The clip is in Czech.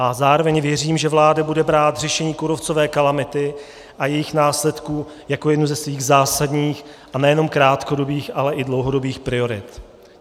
A zároveň věřím, že vláda bude brát řešení kůrovcové kalamity a jejích následků jako jednu ze svých zásadních, a nejenom krátkodobých, ale i dlouhodobých priorit.